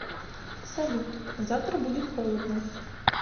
салют завтра будет холодно